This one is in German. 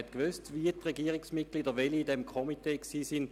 Man wusste, welche Regierungsmitglieder Mitglied eines Komitees waren.